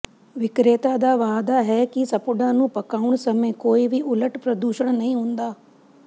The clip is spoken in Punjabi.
ਵਿਕਰੇਤਾ ਦਾ ਵਾਅਦਾ ਹੈ ਕਿ ਸਪੁੱਡਾਂ ਨੂੰ ਪਕਾਉਣ ਸਮੇਂ ਕੋਈ ਵੀ ਉਲਟ ਪ੍ਰਦੂਸ਼ਣ ਨਹੀਂ ਹੁੰਦਾ